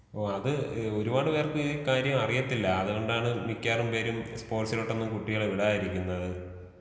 ഓ അത് ഒരുപാട് പേർക്ക് ഈ കാര്യം അറിയത്തില്ല അത് കൊണ്ടാണ് മിക്കാരും പേരും സ്പോർട്സിലോട്ടൊന്നും കുട്ടികളെ വിടാതിരിക്കുന്നത്.